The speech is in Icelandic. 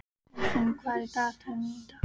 Steinfinnur, hvað er í dagatalinu mínu í dag?